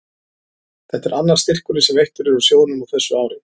Þetta er annar styrkurinn sem veittur er úr sjóðnum á þessu ári.